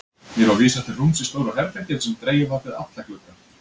Mér var vísað til rúms í stóru herbergi þar sem dregið var fyrir alla glugga.